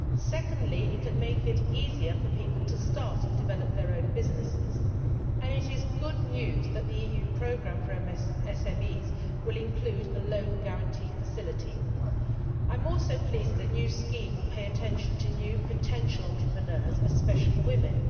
Secondly, it can make it easier for people to start and develop their own businesses and it is good news that the EU programme for SMEs will include a loan guarantee facility. I am also pleased that the new scheme will pay attention to new potential entrepreneurs, especially women.